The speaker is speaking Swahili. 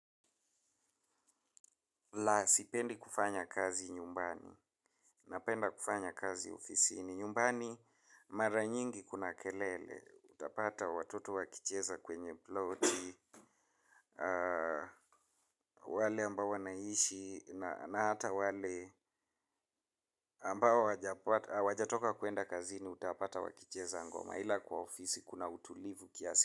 La sipendi kufanya kazi nyumbani, napenda kufanya kazi ofisini nyumbani, mara nyingi kuna kelele, utapata watoto wakicheza kwenye ploti, wale ambao wanaishi, na hata wale ambao hawajatoka kuenda kazini utapata wakicheza ngoma, ila kwa ofisi kuna utulivu kiasi.